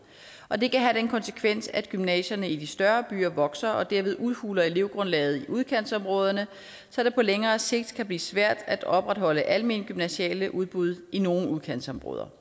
og det kan have den konsekvens at gymnasierne i de større byer vokser og derved udhuler elevgrundlaget i udkantsområderne så det på længere sigt kan blive svært at opretholde almene gymnasiale udbud i nogle udkantsområder